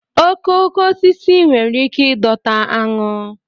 okooko osisi nwere ike ịdọta aṅụ